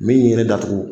Min ye ne datugu